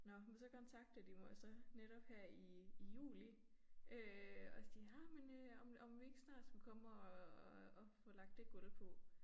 Nåh men så kontaktede de mig så netop her i i juli øh og jamen øh om om vi ikke snart skulle komme og og få lagt det gulv på